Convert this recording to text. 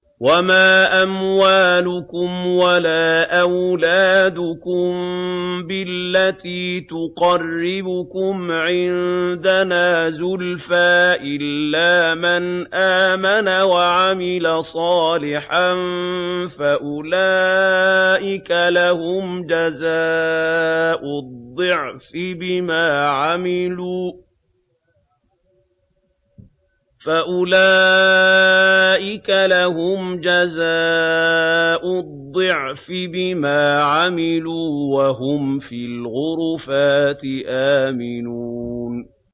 وَمَا أَمْوَالُكُمْ وَلَا أَوْلَادُكُم بِالَّتِي تُقَرِّبُكُمْ عِندَنَا زُلْفَىٰ إِلَّا مَنْ آمَنَ وَعَمِلَ صَالِحًا فَأُولَٰئِكَ لَهُمْ جَزَاءُ الضِّعْفِ بِمَا عَمِلُوا وَهُمْ فِي الْغُرُفَاتِ آمِنُونَ